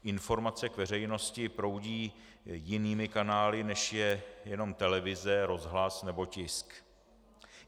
Informace k veřejnosti proudí jinými kanály, než je jenom televize, rozhlas nebo tisk.